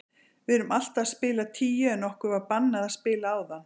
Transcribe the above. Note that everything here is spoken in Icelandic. Við erum alltaf að spila tíu en okkur var bannað að spila áðan.